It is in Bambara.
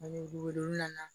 Ani dugu wolodon nana